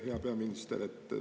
Hea peaminister!